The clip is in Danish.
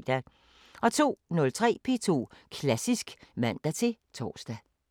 02:03: P2 Klassisk (man-tor)